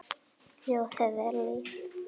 Ljóðið er líf.